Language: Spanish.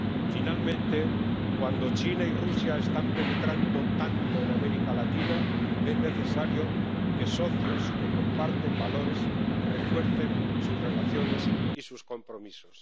Finalmente, cuando China y Rusia están penetrando tanto en América Latina, es necesario que socios que comparten valores refuercen sus relaciones y sus compromisos.